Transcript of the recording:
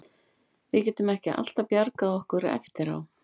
Við getum ekki alltaf bjargað okkur eftir á.